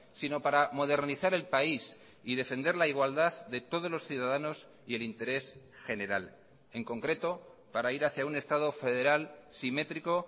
sino para modernizar el país y defender la igualdad de todos los ciudadanos y el interés general en concreto para ir hacia un estado federal simétrico